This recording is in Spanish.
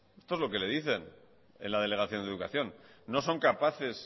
esto es lo que le dicen en la delegación de educación no son capaces